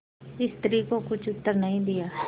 स्त्री को कुछ उत्तर नहीं दिया